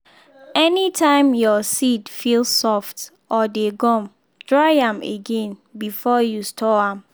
anytime your seed feel soft or dey gum dry am again before you store am.